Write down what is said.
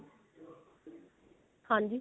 ਹਾਂਜੀ